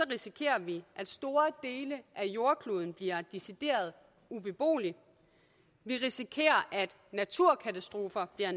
risikerer vi at store dele af jordkloden bliver decideret ubeboelige vi risikerer at naturkatastrofer